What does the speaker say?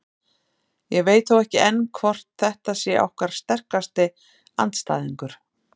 Ég veit þó ekki enn hvort þetta sé okkar sterkasti andstæðingur.